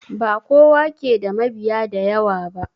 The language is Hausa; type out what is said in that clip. Bakowa ke da mabiya da yawa ba